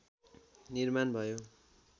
निर्माण भयो